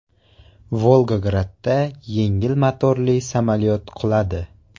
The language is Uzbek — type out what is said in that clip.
Volgogradda yengil motorli samolyot quladi.